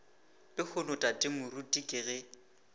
lehono tate moruti ke ge